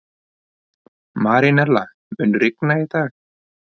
Marínella, mun rigna í dag?